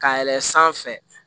Ka yɛlɛn sanfɛ